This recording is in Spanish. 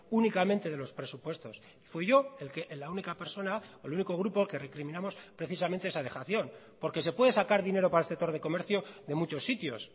únicamente de los presupuestos fui yo la única persona o el único grupo que recriminamos precisamente esa dejación porque se puede sacar dinero para el sector de comercio de muchos sitios